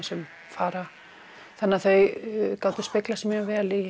sem fara þannig að þau gátu speglað sig mjög vel í